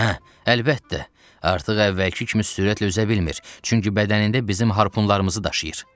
Hə, əlbəttə, artıq əvvəlki kimi sürətlə üzə bilmir, çünki bədənində bizim harpunlarımızı daşıyır.